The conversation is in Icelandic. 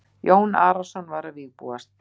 Jón Arason var að vígbúast.